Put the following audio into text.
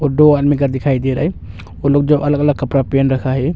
दो आदमी का दिखाई दे रहा है वो लोग जो अलग अलग कपड़ा पहन रखा है।